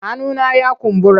Hannuna ya kumbura.